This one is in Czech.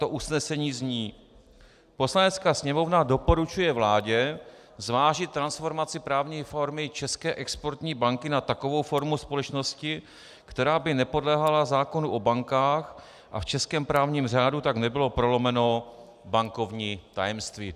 To usnesení zní: "Poslanecká sněmovna doporučuje vládě zvážit transformaci právní formy České exportní banky na takovou formu společnosti, která by nepodléhala zákonu o bankách, a v českém právním řádu tak nebylo prolomeno bankovní tajemství."